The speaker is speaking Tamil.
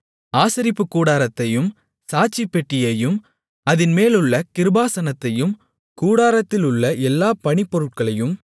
ஆசரிப்புக்கூடாரத்தையும் சாட்சிப்பெட்டியையும் அதின்மேலுள்ள கிருபாசனத்தையும் கூடாரத்திலுள்ள எல்லா பணிப்பொருட்களையும்